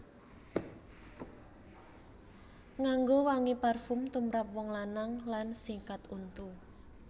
Nganggo wangi parfum tumrap wong lanang lan sikat untu